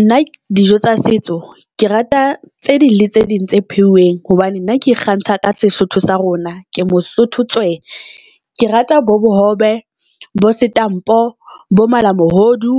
Nna dijo tsa setso ke rata tse ding le tse ding tse pheuweng hobane nna ke ikgantsha ka seSotho sa rona. Ke moSotho tswe, ke rata bo bo hobe, bo setampo, bo malamohodu,